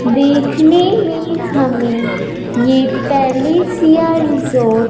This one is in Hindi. देखने में हमें ये पैलेस या रिसॉर्ट --